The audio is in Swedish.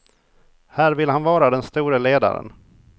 Här vill han vara den store ledaren.